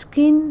skin --